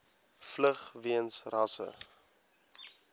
vlug weens rasse